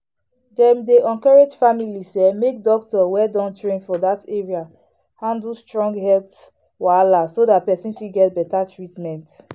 dem dey encourage families um make doctor wey don train for that area handle strong health wahala so the person fit get better treatment.